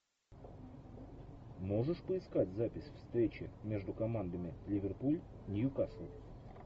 можешь поискать запись встречи между командами ливерпуль ньюкасл